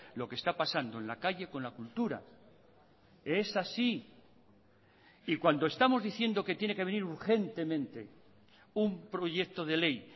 lo que está pasando en la calle con la cultura es así y cuando estamos diciendo que tiene que venir urgentemente un proyecto de ley